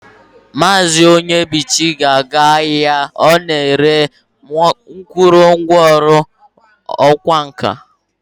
Maazi Onyebuchi ga-aga ahia ana-ere nkurungwa oru okwa nka.